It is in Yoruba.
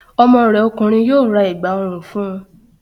Ọmọ rẹ ọkùnrin yóò ra Ẹ̀gbá ọrùn fun